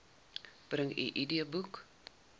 bring u idboek